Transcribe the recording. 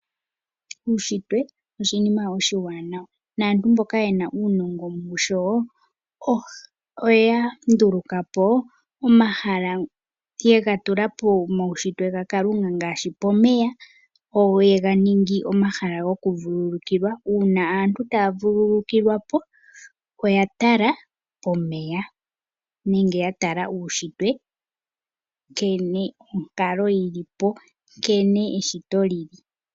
Uunshitwe oshinima oshiwanawa, naantu mboka yena uunongo musho , oya ndulukapo omahala yega tula pomaunshitwe gaKalunga ngaashi pomeya, yega ningi omahala gokuvulukilwa. Uuna aantu taya vulukwa oya tala omeya nenge yatala uunshitwe nkene onkalo yilipo neshito lili.